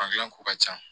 Fangi ko ka ca